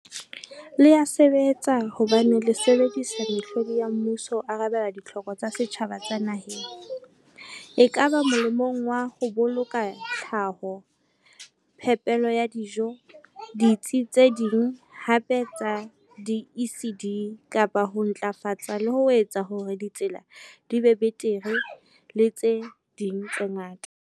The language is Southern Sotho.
Le ya sebetsa hobane le sebedisa mehlodi ya mmuso ho arabela ditlhoko tsa setjhaba tsa naheng, ekaba molemong wa ho boloka tlhaho, phepelo ya dijo, ditsi tse ding hape tsa di-ECD, kapa ho ntlafatsa le ho etsa hore ditsela di be betere le tse ding tse ngata.